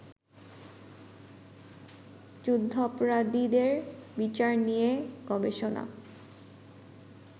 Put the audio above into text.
যুদ্ধাপরাধীদের বিচার নিয়ে গবেষণা